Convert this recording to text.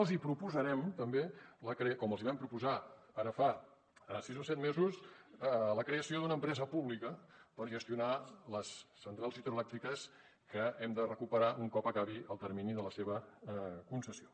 els proposarem també com els vam proposar ara fa sis o set mesos la creació d’una empresa pública per gestionar les centrals hidroelèctriques que hem de recuperar un cop acabi el termini de la seva concessió